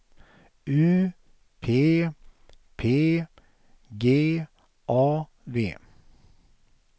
U P P G A V